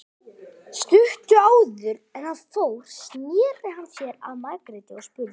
Stuttu áður en hann fór sneri hann sér að Margréti og spurði